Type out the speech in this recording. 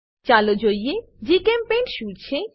ચાલો જોઈએ જીચેમ્પેઇન્ટ શું છે